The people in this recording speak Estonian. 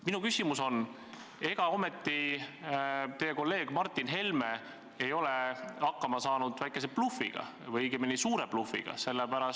Minu küsimus on: ega ometi teie kolleeg Martin Helme ei ole hakkama saanud väikese blufiga või õigemini suure blufiga?